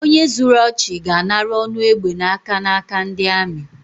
Onye zuru ọchị, ga-anara ọnụ egbe n’aka n’aka ndi amị